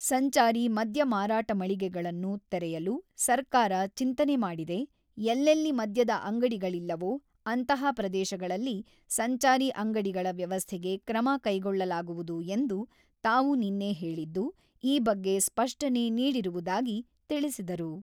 ಸಂಚಾರಿ ಮದ್ಯ ಮಾರಾಟ ಮಳಿಗೆಗಳನ್ನು ತೆರೆಯಲು ಸರ್ಕಾರ ಚಿಂತನೆ ಮಾಡಿದೆ, ಎಲ್ಲೆಲ್ಲಿ ಮದ್ಯದ ಅಂಗಡಿಗಳಿಲ್ಲವೋ, ಅಂತಹ ಪ್ರದೇಶಗಳಲ್ಲಿ ಸಂಚಾರಿ ಅಂಗಡಿಗಳ ವ್ಯವಸ್ಥೆಗೆ ಕ್ರಮ ಕೈಗೊಳ್ಳಲಾಗುವುದು ಎಂದು ತಾವು ನಿನ್ನೆ ಹೇಳಿದ್ದು, ಈ ಬಗ್ಗೆ ಸ್ಪಷ್ಟನೆ ನೀಡಿರುವುದಾಗಿ ತಿಳಿಸಿದರು.